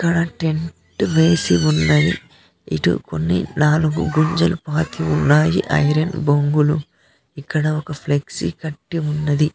ఇక్కడ టెంటు వేసి ఉన్నది ఇటు కొన్ని నాలుగు కుర్చీలు పాతవి ఉన్నాయి ఐరన్ బొంగులు ఇక్కడ ఒక ఫ్లెక్సీ కట్టి ఉన్నది.